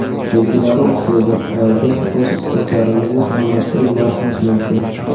Belgilari o‘xshaydi, va biz o‘z istaklarimizni almashtirib yuborishimiz mumkin.